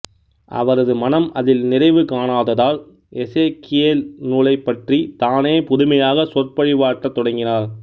அவரது மனம் அதில் நிறைவு காணாததால் எசேக்கியேல் நூலைப் பற்றி தானே புதுமையாக சொற்பொழிவாற்றத் தொடங்கினார்